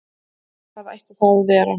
Hvað ætti það að vera?